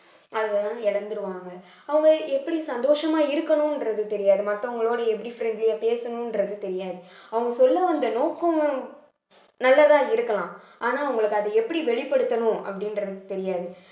அத வந்து இழந்துருவாங்க வாங்க அவங்க எப்படி சந்தோஷமா இருக்கணுன்றது தெரியாது மத்தவங்களோட எப்படி friendly ஆ பேசணுன்றது தெரியாது அவங்க சொல்ல வந்த நோக்கம் நல்லதா இருக்கலாம் ஆனா அவங்களுக்கு அதை எப்படி வெளிப்படுத்தணும் அப்படின்றது தெரியாது